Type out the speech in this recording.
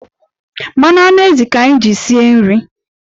Mmanụ anụ ezì ka anyị ji sie nri.